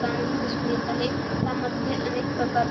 दाणे ही दिसून येत आहे त्यामध्ये अनेक प्रकार --